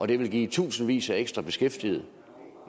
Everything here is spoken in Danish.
det vil give i tusindvis af ekstra beskæftigede